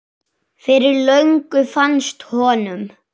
Fyrir löngu fannst honum.